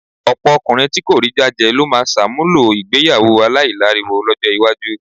Ọ̀pọ̀ ọkùnrin tí kò rí jájẹ ló máa ṣàmúlò ìgbéyàwó aláìláriwo lọ́jọ́ iwájú.